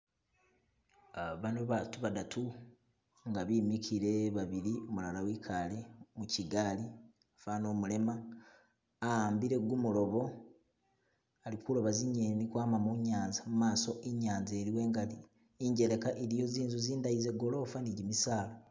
Ah bano batu badatu nga bimikile babili, umulala wikale mukigaali fana umulema, awambile gu mulobo alikuloba zingeni ukwama munyanza, mumaso inyanza iliwo ingali, injeleka iliyo zinzu zindayi zengolofa ni gimisala.